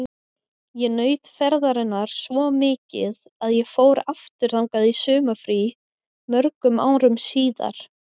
Ég naut ferðarinnar svo mikið að ég fór aftur þangað í sumarfrí mörgum árum síðar.